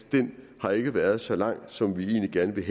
at den ikke har været så lang som vi egentlig gerne ville